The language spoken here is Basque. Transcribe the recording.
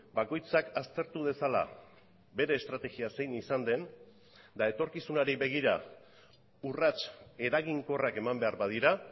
bakoitzak aztertu dezala bere estrategia zein izan den eta etorkizunari begira urrats eraginkorrak eman behar badira